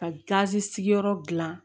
Ka gazi sigiyɔrɔ dilan